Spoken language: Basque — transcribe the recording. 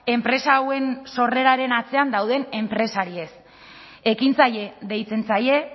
enpresa hauen sorreraren atzean dauden enpresariez ekintzaile deitzen zaie